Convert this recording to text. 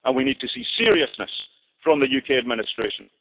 We need to see seriousness from the UK administration.